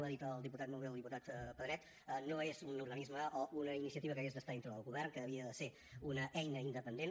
ho ha dit molt bé el diputat pedret no és un organisme o una iniciativa que hagi d’estar dintre del govern que ha de ser una eina independent